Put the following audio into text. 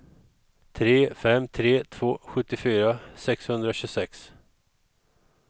tre fem tre två sjuttiofyra sexhundratjugosex